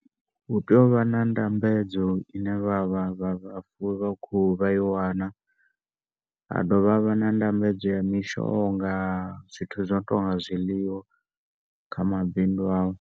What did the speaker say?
U tea u vha na ndambedzo ine vha vha vhafuwi vha khuhu vha i wane ha dovha ha vha nda ndambedzo ya mishonga zwithu zwono tonga zwiḽiwa kha mabindu a vho.